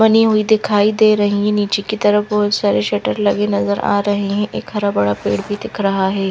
बनी हुई दिखाई दे रही निचे की तरफ बहोत सारे शटर लगे नजर आ रहे है एक हर भरा पेड़ भी दिख रहा है।